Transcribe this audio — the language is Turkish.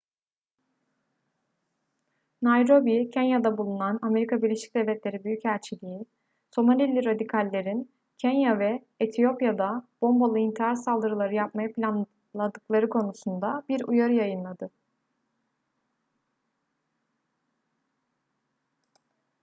nairobi/kenya'da bulunan amerika birleşik devletleri büyükelçiliği somalili radikallerin kenya ve etiyopya'da bombalı intihar saldırıları yapmayı planladıkları konusunda bir uyarı yayınladı